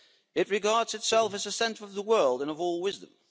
It regards itself as the centre of the world, and of all wisdom.